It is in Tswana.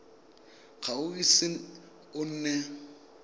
ga o ise o nne